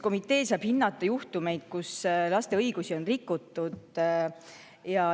Komitee saab hinnata juhtumeid, kus laste õigusi on rikutud.